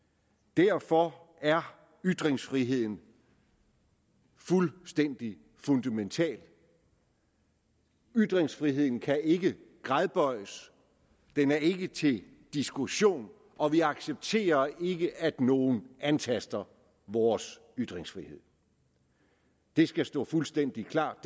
derfor er ytringsfriheden fuldstændig fundamental ytringsfriheden kan ikke gradbøjes den er ikke til diskussion og vi accepterer ikke at nogen antaster vores ytringsfrihed det skal stå fuldstændig klart